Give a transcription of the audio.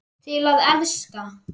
Til að elska.